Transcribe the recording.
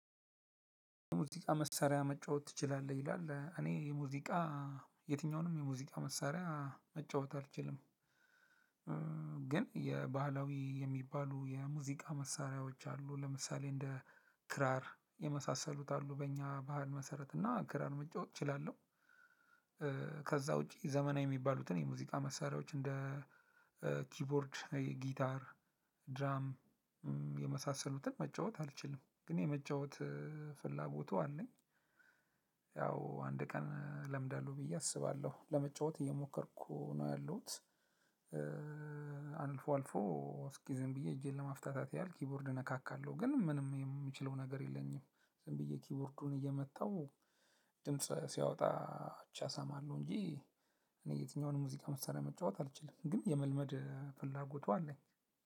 የሙዚቃ መሳሪያ መጫወት ትችላለህ ይላል እኔ የሙዚቃ የትኛውንም የሙዚቃ መሳሪያ መጫወት አልችልም። ግን የባህላዊ የሚባሉ የሙዚቃ መሳሪያዎች አሉ ለምሳሌ እንደ ክራር የመሳሰሉት አሉ በእኛ ባህል መሰረት እና ክራር መጫወት እችላለሁ። ከዛ ውጪ ዘመናዊ የሚባሉትን የሙዚቃ መሳሪያዎች እንደ ኪቦርድ ጊታር ድራም የመሳሰሉትን መጫወት አልችልም። ግን የመጫወት ፍላጎቱ አለኝ። ያው አንድ ቀን እለምዳለሁ ብዬ አስባለሁ ለመጫወት እየሞከርኩ ነው ያለሁት። አልፎ አልፎ እስኪ ዝም ብዬ እጄን ለማፍታታት ያልኩኝ ኪቦርድ እነካካለሁ ግን ምንም የምችለው ነገር የለኝም። ዝም ብዬ ኪቦርዱን እየመታሁ ድምጽ ሲያወጣ ብቻ አሳማለሁ እንጂ እኔ የትኛውንም ሙዚቃ መስራት መጫወት አልችልም። ግን የመልመድ ፍላጎቱ አለኝ